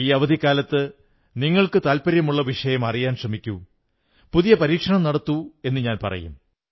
ഈ അവധിക്കാലത്ത് നിങ്ങൾക്കു താത്പര്യമുള്ള വിഷയം അറിയാൻ ശ്രമിക്കൂ പുതിയ പരീക്ഷണം നടത്തൂ എന്നു ഞാൻ പറയും